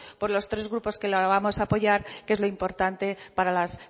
por los tres grupos que lo vamos a apoyar que es lo importante para las